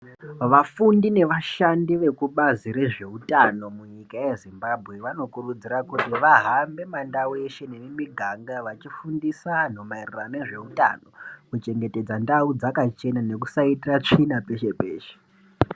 Vafundi nevashandi vekubazi rezveutano munyika yeZimbabwe ,vanokurudzira kuti vahambe mundau yeshe nemumuganga vachifundisa vantu maererano ngezveutano ,kuchengetedza dzakachena nekusaitira tsvina peshe peshe.